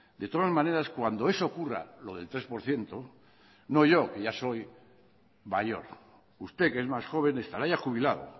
de todas las maneras cuando eso ocurra lo del tres por ciento no yo que ya soy mayor usted que es más joven estará ya jubilado